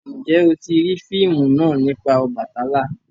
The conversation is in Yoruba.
Njé o ti rii fíìmù náa nipa Obàtálá?